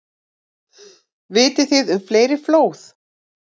Vitið þið um fleiri flóð?